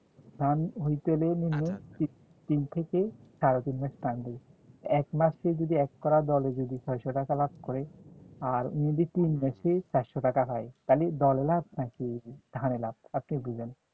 ধান হইতে গেলে মিনি minimum মাম তিন থেকে সাড়ে তিন মাস time লাগে এক মাসে যদি এক করা দলে যদি ছয়শ টাকা লাভ করে আর তিন মাসে চারশো টাকা পায় তালি দলে লাভ নাকি ধানে লাভ আপনি বুঝেন